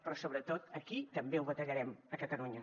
però sobretot aquí també ho batallarem a catalunya